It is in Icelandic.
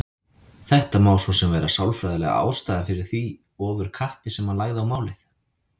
Þetta má svo sem vera sálfræðilega ástæðan fyrir því ofurkappi sem hann lagði á málið.